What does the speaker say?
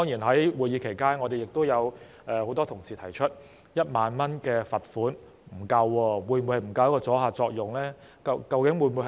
在會議期間，很多同事指出1萬元罰款不足夠，阻嚇作用會否不足？